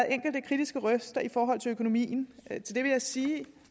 enkelte kritiske røster i forhold til økonomien til det vil jeg sige